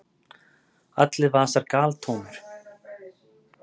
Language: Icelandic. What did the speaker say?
Allir vasar galtómir!